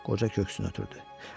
qoca köksünü ötdürdü.